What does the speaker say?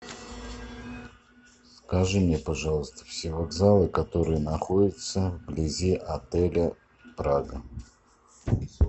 скажи мне пожалуйста все вокзалы которые находятся вблизи отеля прага